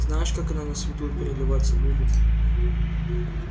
знаешь как оно на свету переливаться будет